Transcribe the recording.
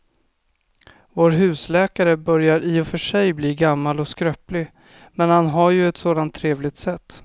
Vår husläkare börjar i och för sig bli gammal och skröplig, men han har ju ett sådant trevligt sätt!